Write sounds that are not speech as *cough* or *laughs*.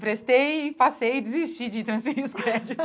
Prestei, passei e desisti de transferir os créditos. *laughs*